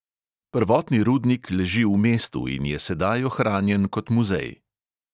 Prvotni rudnik leži v mestu in je sedaj ohranjen kot muzej.